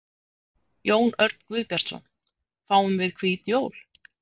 Jón Örn Guðbjartsson: Fáum við hvít jól?